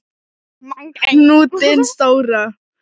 Hnútinn stóra.